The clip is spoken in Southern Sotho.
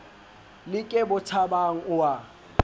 le ke bothabang o a